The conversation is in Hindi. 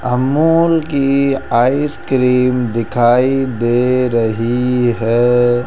अमूल की आइसक्रीम दिखाई दे रही है।